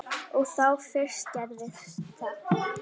Og þá fyrst gerðist það.